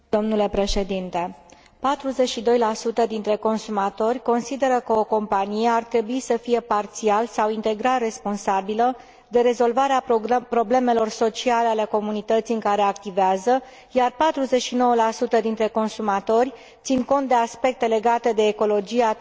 42 dintre consumatori consideră că o companie ar trebui să fie parțial sau integral responsabilă de rezolvarea problemelor sociale ale comunității în care activează, iar 49 dintre consumatori țin cont de aspecte legate de ecologie atunci când cumpără un produs.